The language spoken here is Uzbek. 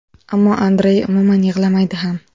Ammo Andrey umuman yig‘lamaydi ham.